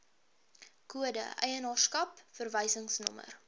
kode eienaarskap verwysingsnommer